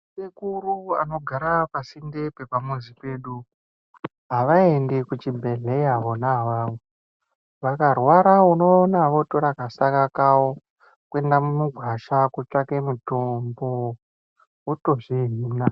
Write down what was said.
Sekuru anogara pasinde pepamuzi pedu avaendi kuchibhehleya wona avavo vakarwara unoona votora kasaka kawo kuenda mugwasha kotsvake mutombo votozvihina.